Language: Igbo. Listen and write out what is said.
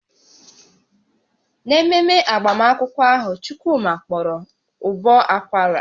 N'ememe agbamakwụkwọ ahụ, Chukwuma kpọrọ ụbọ akwara